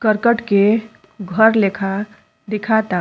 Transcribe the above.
करकट के घर लेखा दिखाता।